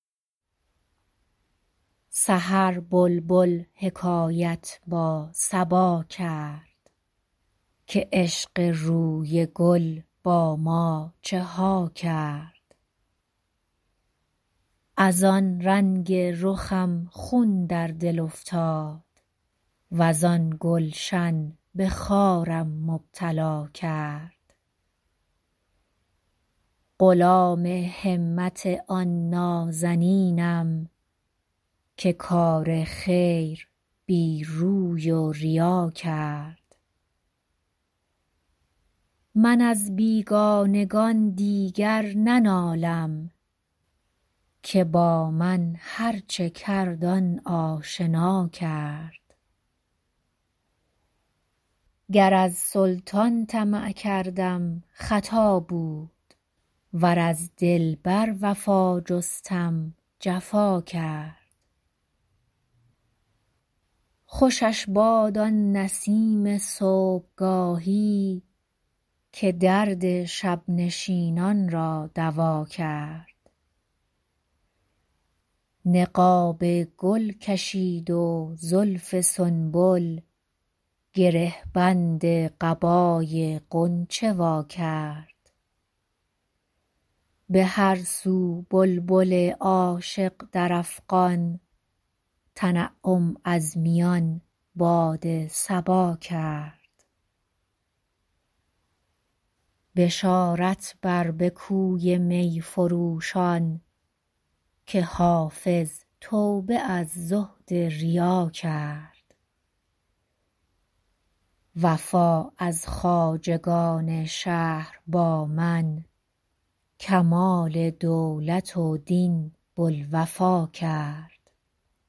سحر بلبل حکایت با صبا کرد که عشق روی گل با ما چه ها کرد از آن رنگ رخم خون در دل افتاد وز آن گلشن به خارم مبتلا کرد غلام همت آن نازنینم که کار خیر بی روی و ریا کرد من از بیگانگان دیگر ننالم که با من هرچه کرد آن آشنا کرد گر از سلطان طمع کردم خطا بود ور از دلبر وفا جستم جفا کرد خوشش باد آن نسیم صبحگاهی که درد شب نشینان را دوا کرد نقاب گل کشید و زلف سنبل گره بند قبای غنچه وا کرد به هر سو بلبل عاشق در افغان تنعم از میان باد صبا کرد بشارت بر به کوی می فروشان که حافظ توبه از زهد ریا کرد وفا از خواجگان شهر با من کمال دولت و دین بوالوفا کرد